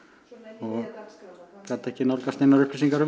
og gat ekki nálgast neinar upplýsingar um